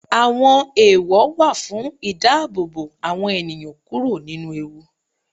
Àwọn ẹ̀èwọ̀ wà fún ìdáàbòbò àwọn ènìyàn kúrò nínú ewu.